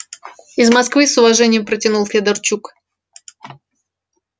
из москвы с уважением протянул федорчук